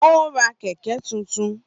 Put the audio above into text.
Ó ra kẹ̀kẹ́ tuntun